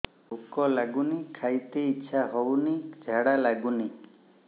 ଭୁକ ଲାଗୁନି ଖାଇତେ ଇଛା ହଉନି ଝାଡ଼ା ଲାଗୁନି